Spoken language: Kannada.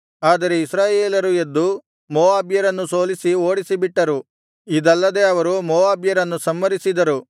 ಆದರೆ ಇಸ್ರಾಯೇಲರು ಎದ್ದು ಮೋವಾಬ್ಯರನ್ನು ಸೋಲಿಸಿ ಓಡಿಸಿಬಿಟ್ಟರು ಇದಲ್ಲದೆ ಅವರು ಮೋವಾಬ್ಯರನ್ನು ಸಂಹರಿಸಿದರು